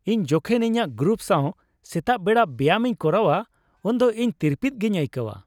ᱤᱧ ᱡᱚᱠᱷᱮᱱ ᱤᱧᱟᱹᱜ ᱜᱨᱩᱯ ᱥᱟᱶ ᱥᱮᱛᱟᱜ ᱵᱮᱲᱟ ᱵᱮᱭᱟᱢᱤᱧ ᱠᱚᱨᱟᱣᱟ ᱩᱱᱫᱚ ᱤᱧ ᱛᱤᱨᱯᱤᱛ ᱜᱮᱧ ᱟᱹᱭᱠᱟᱹᱣᱟ ᱾